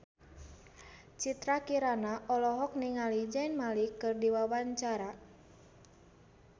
Citra Kirana olohok ningali Zayn Malik keur diwawancara